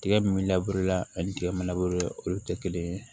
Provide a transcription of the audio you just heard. Tigɛ min la ani tigɛ ma olu tɛ kelen ye